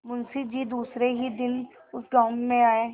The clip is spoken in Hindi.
मुँशी जी दूसरे ही दिन उस गॉँव में आये